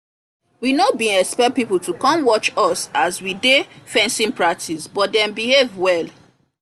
we no been expect people to come watch as we dey fencing practice but dem behave well